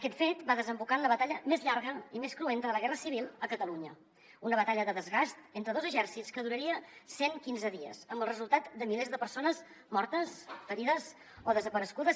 aquest fet va desembocar en la batalla més llarga i més cruenta de la guerra civil a catalunya una batalla de desgast entre dos exèrcits que duraria cent quinze dies amb el resultat de milers de persones mortes ferides o desaparegudes